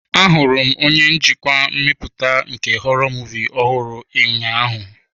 Ahụrụ m onye njikwa mmepụta nke họrọ muvịị ọhụrụ ụnyaahụ.